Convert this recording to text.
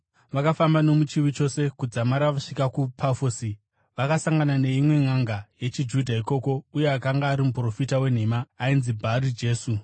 Vakafamba nomuchiwi chose kudzamara vasvika kuPafosi. Vakasangana neimwe nʼanga yechiJudha ikoko, uye akanga ari muprofita wenhema ainzi Bhari Jesu,